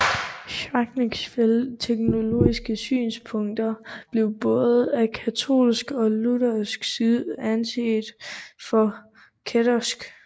Schwenckfelds teologiske synspunkter blev både af katolsk og luthersk side anset for kættersk